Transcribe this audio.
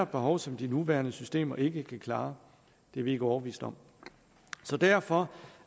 behov som de nuværende systemer ikke kan klare er vi ikke overbeviste om så derfor